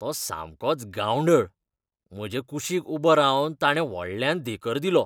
तो सामकोच गांवढळ. म्हज्या कुशीक उबो रावन ताणें व्हडल्यान धेंकर दिलो.